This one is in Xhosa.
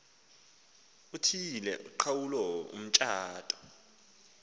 uthiyile uqhawulo mtshato